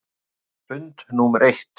Eftir fund númer eitt.